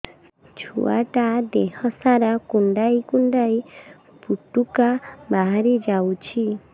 ଛୁଆ ଟା ଦେହ ସାରା କୁଣ୍ଡାଇ କୁଣ୍ଡାଇ ପୁଟୁକା ବାହାରି ଯାଉଛି